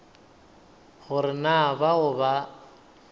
go re na bao ba